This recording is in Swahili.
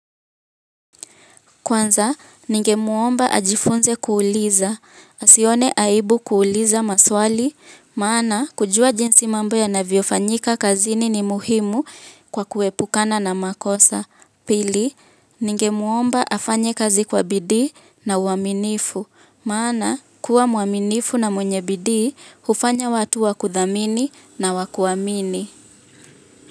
Kwanza, ninge muomba ajifunze kuuliza, asione aibu kuuliza maswali, maana kujua jinsi mambo ya navyofanyika kazini ni muhimu kwa kuepukana na makosa. Pili, ninge muomba afanye kazi kwa bidii na uaminifu, maana kuwa muaminifu na mwenye bidii, ufanya watu wakudhamini na wakuamini.